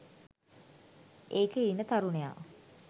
ඒකෙ ඉන්න තරුණයා